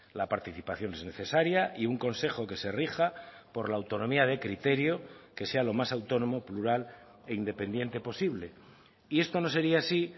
la participación es necesaria y un consejo que se rija por la autonomía de criterio que sea lo más autónomo plural e independiente posible y esto no sería así